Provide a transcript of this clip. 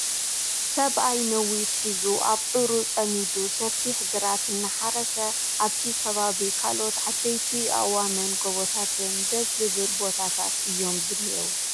ሰብኣይ ነዊት ሒዙ ኣብዑሩ ፀሚዱ ሰፊሕ ግራት እናሓረሰ ኣብቲ ከባቢ ካልኦት ዓበይቲ አእዋም ን ጎቦታትን ዴሰ ዝብል ቦታታት እዮም ዝኔእዉ ።